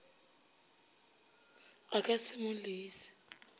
a ka se mo lese